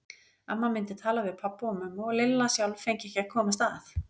Amma myndi tala við pabba og mömmu og Lilla sjálf fengi ekki að komast að.